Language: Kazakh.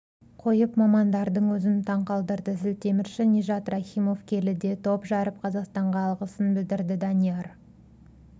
қойып мамандардың өзін таң калдырды зілтемірші нижат рахимов келіде топ жарып қазақстанға алғысын білдірді данияр